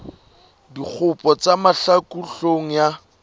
dikgopo tsa mahlaku hloohong ya